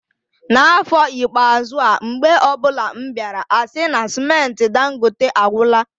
N'afọ ikpeazụ a, mgbe ọbụla m bịara, asị na cementị Dangote agwụla